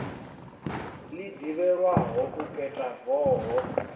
ḽi ḓivhelwaho u peta voho